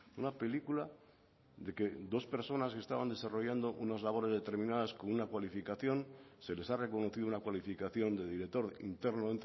una película de que dos personas estaban desarrollando unas labores determinadas con una cualificación se les ha reconocido una cualificación de director interno